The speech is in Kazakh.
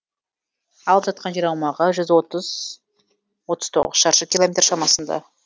алып жатқан жер аумағы жүз отыз шаршы километр шамасында